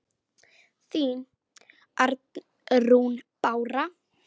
Þín, Arnrún Bára.